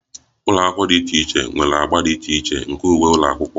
Ụlọ akwụkwọ dị iche iche nwere agba dị iche iche nke uwe ụlọ akwụkwọ